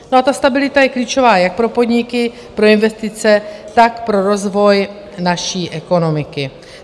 No a ta stabilita je klíčová jak pro podniky, pro investice, tak pro rozvoj naší ekonomiky.